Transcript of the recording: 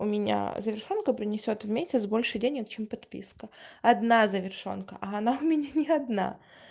у меня завершёнка принесёт в месяц больше денег чем подписка одна завершёнка а она у меня не одна